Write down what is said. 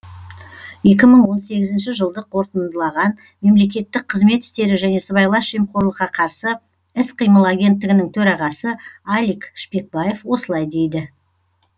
екі мың он сегізінші жылды қорытындылаған мемлекеттік қызмет істері және сыбайлас жемқорлыққа қарсы іс қимыл агенттігінің төрағасы алик шпекбаев осылай дейді